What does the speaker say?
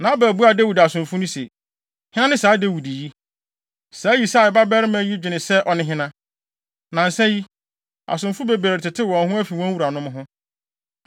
Nabal buaa Dawid asomfo no se, “Hena ne saa Dawid yi? Saa Yisai babarima yi dwene sɛ ɔne hena? Nnansa yi, asomfo bebree retetew wɔn ho afi wɔn wuranom ho.